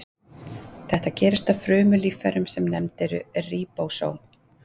Þetta gerist á frumulíffærum sem nefnd eru ríbósóm.